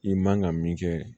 I man ka min kɛ